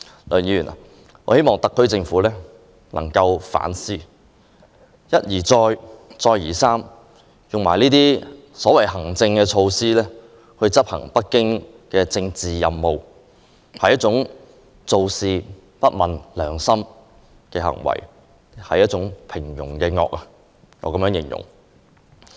我希望特區政府能夠反思，他們一而再、再而三地利用行政措施執行北京的政治任務，其實是做事不問良心，我會將這種行為形容為一種平庸的惡。